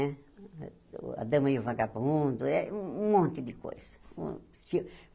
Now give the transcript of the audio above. Né A Dama e o Vagabundo, eh um monte de coisa um.